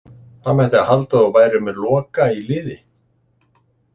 Það mætti halda að þú værir með Loka í liði